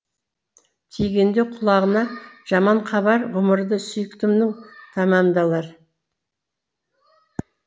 тигенде құлағына жаман хабар ғұмыры сүйіктімнің тәмәмдалар